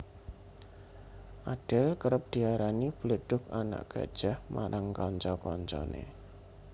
Adele kerep diarani bledhug anak gajah marang kanca kancane